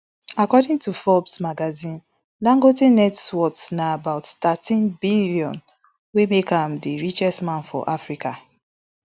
according to forbes magazine dangote net worth na about thirteen billion wey make am di richest man for africa